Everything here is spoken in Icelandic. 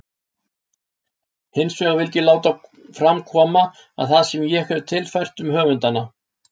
Hinsvegar vildi ég láta fram koma það sem ég hefi tilfært um höfundana.